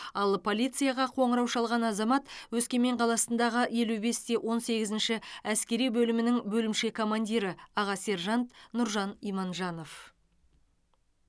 ал полицияға қоңырау шалған азамат өскемен қаласындағы елу бес те он сегізінші әскери бөлімінің бөлімше командирі аға сержант нұржан иманжанов